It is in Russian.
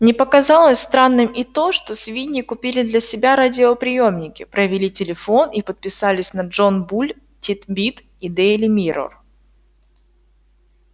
не показалось странным и то что свиньи купили для себя радиоприёмники провели телефон и подписались на джон буль тит-бит и дейли миррор